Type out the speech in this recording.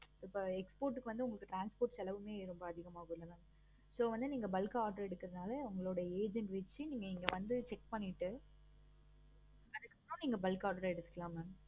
இப்போ export க்கு வந்த transport செலவு கூட அதிகமாகுமாலா? so வந்து நீங்க bulk ஆஹ் order எடுக்குறதுனால அவங்களோட agent வச்சி நீங்க இங்க வந்து check பண்ணிட்டு okay நீங்க bulk order எடுத்துக்கலாம் mam